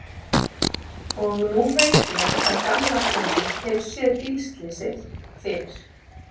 Og nú veit ég að gamla konan hefur séð bílslysið fyrir.